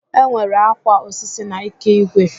Enwere àkwà osisi na nke igwe